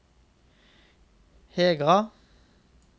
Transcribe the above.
Hegra